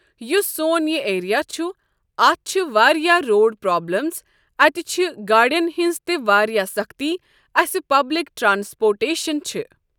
یُس سون یہِ ایریا چھُ اَتھ چھِ واریاہ روڈ پروبلِمز اَتہِ چھِ گاڈٮ۪ن ہٕنٛز تہِ واریاہ سَختی اَسہِ پبلِک ٹرانسپوٹیٚشن چھِ ۔